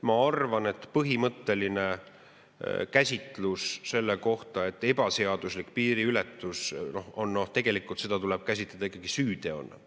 Ma arvan, et põhimõtteliselt käsitus, et ebaseaduslikku piiriületust tegelikult tuleb käsitleda ikkagi süüteona.